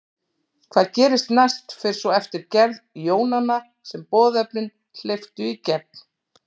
Hvað gerist næst fer svo eftir gerð jónanna sem boðefnin hleyptu í gegn.